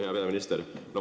Hea peaminister!